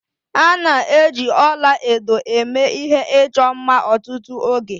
A na-eji ọla edo eme ihe ịchọ mma ọtụtụ oge